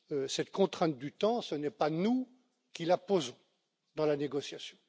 Cette contrainte du temps, ce n'est pas nous qui la posons dans la négociation.